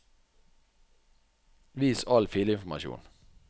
vis all filinformasjon